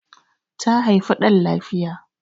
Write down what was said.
ta haifi dan lafiya